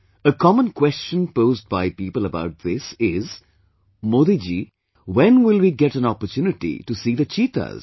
A common question posed by people about this is "Modi ji, when will we get an opportunity to see the cheetahs